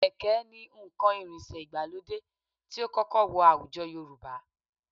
Kẹ̀ké ni nǹkan ìrìnsẹ̀ ìgbàlódé tí ó kọ́kọ́ wọ àwùjọ Yorùbá